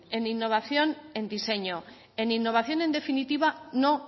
en innovación en diseño en innovación en definitiva no